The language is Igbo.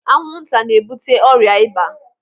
Anwụ nta n'ebute ọrịa ịba.